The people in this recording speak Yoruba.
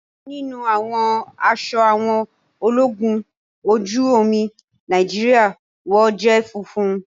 ọkan níní àwọn aṣọ àwọn ológun ojú omi Nàìjíríà wọ jé funfun.